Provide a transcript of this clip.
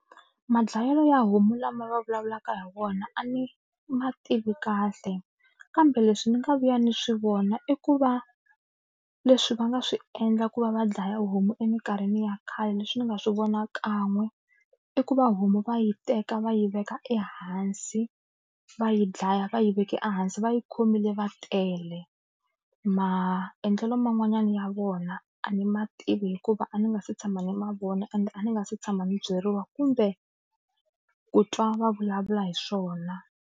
Madlayelo ya homu lama va vulavulaka hi vona a ni ma tivi kahle kambe leswi ni nga vuya ni swi vona i ku va leswi va nga swi endla ku va va dlaya homu eminkarhini ya khale leswi ni nga swi vona kan'we i ku va homu va yi teka va yi veka ehansi va yi dlaya va yi veke ehansi va yi khomile va tele maendlelo man'wanyana ya vona a ni ma tivi hikuva a ni nga se tshama ni ma vona ende a ni nga se tshama ni byeriwa kumbe ku twa va vulavula hi swona.